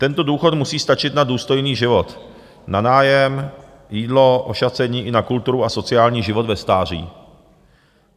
Tento důchod musí stačit na důstojný život, na nájem, jídlo, ošacení i na kulturu a sociální život ve stáří.